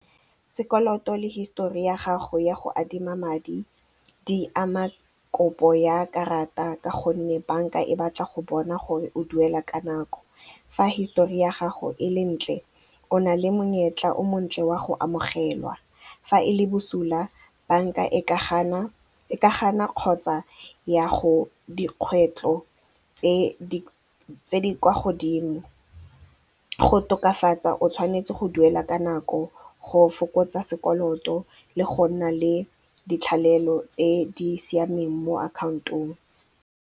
Sekoloto le hisetori ya gago ya go adima madi, di ama kopo ya karata ka gonne bank-a e batla go bona gore o duela ka nako. Fa hisetori ya gago e le ntle o nale monyetla o montle wa go amogelwa fa e le bosula bank-a e ka gana kgotsa ya go dikgwetlho tse di kwa godimo go tokafatsa o tshwanetse go duela ka nako go fokotsa sekoloto le go nna le ditlhalelo tse di siameng mo account-ong.